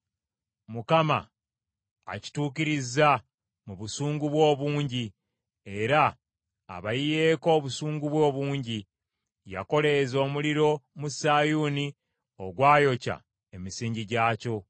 Mukama akituukirizza mu busungu bwe obungi, era abayiyeeko obusungu bwe obungi. Yakoleeza omuliro mu Sayuuni ogwayokya emisingi gyakyo.